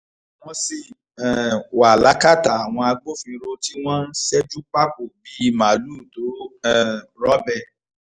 wọ́n sì um wà lákàtà àwọn agbófinró tí wọ́n ń ṣẹ́jú pákó bíi màálùú tó um rọ́bẹ̀